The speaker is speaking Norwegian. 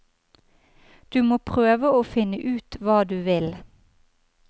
Du må prøve å finne ut hva du vil.